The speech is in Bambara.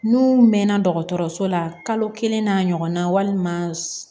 N'u mɛnna dɔgɔtɔrɔso la kalo kelen n'a ɲɔgɔnna walima